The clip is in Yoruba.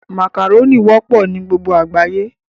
Màkàrónì wọ́pọ̀ ní gbogbo àgbáyé